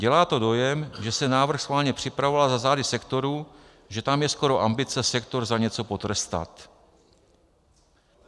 Dělá to dojem, že se návrh schválně připravoval za zády sektoru, že tam je skoro ambice sektor za něco potrestat.